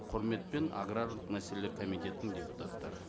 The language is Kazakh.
құрметпен аграрлық мәселелер комитетінің депутаттары